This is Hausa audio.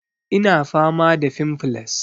Ina fama da fimfles